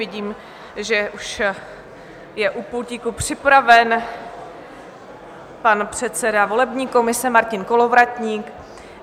Vidím, že už je u pultíku připraven pan předseda volební komise Martin Kolovratník.